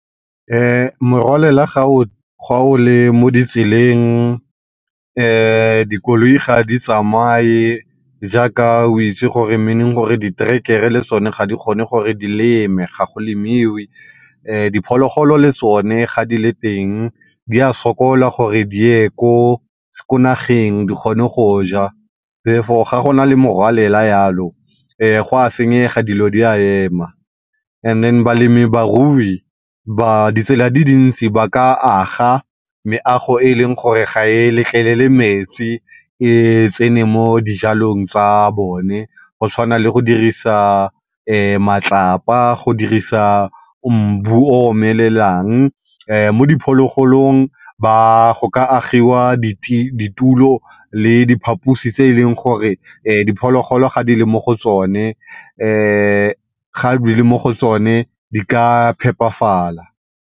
Morwalela ga o le mo ditseleng dikoloi ga di tsamaye jaaka o itse gore meaning gore diterekere le tsone ga di kgone gore di leme, ga go lemiwe. Diphologolo le tsone ga di le teng di a sokola gore diye ko, ko nageng gore di kgone go ja therefore ga go na le morwalela yalo go a senyega dilo di a ema. And then balemi barui ditsela di dintsi ba ka aga meago e e leng gore ga e letlelele metsi e tsene mo dijalong tsa bone go tshwana le go dirisa matlapa, go dirisa mbu o omelelang mo diphologolong go ka agiwa di ditulo le diphaposi tse e leng gore diphologolo di e le mo go tsone, ga di le mo go tsone di ka phepafala.